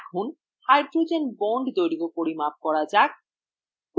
এখন hydrogen bond দৈর্ঘ্য পরিমাপ করা যাক